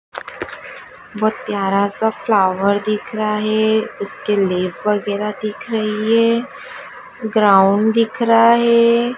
बहुत प्यारा सा फ्लावर दिख रहा है उसके लीफ वगैराह दिख रही है ग्राउंड दिख रहा है।